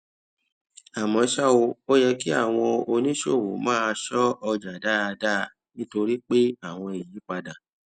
àmó ṣá o ó yẹ kí àwọn oníṣòwò máa ṣó ọjà dáadáa nítorí pé àwọn ìyípadà